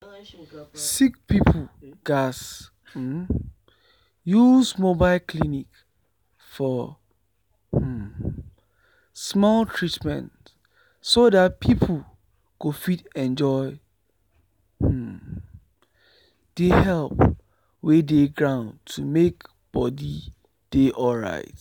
sick people gatz um use mobile clinic for um small treatment so that people go fit enjoy um the help wey dey ground to make body dey alright.